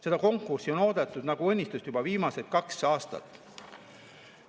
Seda konkurssi on oodatud nagu õnnistust juba viimased kaks aastat.